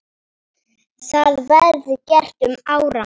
Það verði gert um áramót.